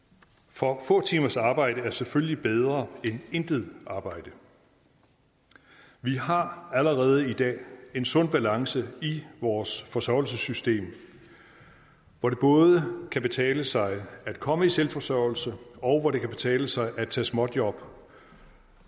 for få timers arbejde er selvfølgelig bedre end intet arbejde vi har allerede i dag en sund balance i vores forsørgelsessystem hvor det både kan betale sig at komme i selvforsørgelse og hvor det kan betale sig at tage småjob